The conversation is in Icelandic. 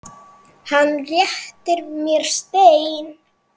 Hann réttir mér stein.